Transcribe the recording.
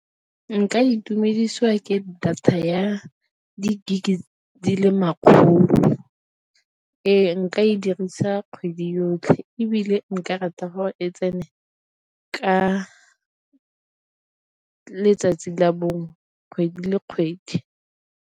Nka itumedisiwa ke data ya di-gig di le makgolo. Ee, nka e dirisa kgwedi yotlhe ebile nka rata gore e tsene ka letsatsi la bongwe kgwedi le kgwedi.